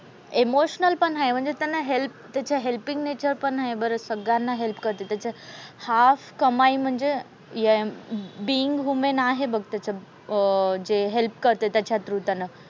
Emotional पण हाय म्हणजे त्याने हेल्प त्याचं हेलपिंग नेचर पण आहे बरं. सगळ्यांना हेल्प करते. त्याच्या half कमाई म्हणजे ये बीइंग ह्युमन आहे बघ त्याचं अह ते हेल्प करते त्याच्या थ्रू त्यांना.